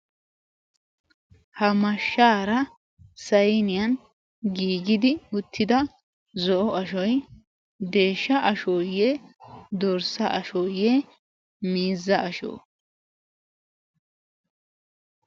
ha mashshaara sainiyan giigidi uttida zo7o ashoi deeshsha ashooyye dorssa ashooyye mizza ashoo?